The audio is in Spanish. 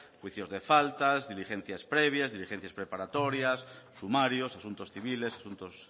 juicios de faltas diligencias previas diligencias preparatorios sumarios asuntos civiles asuntos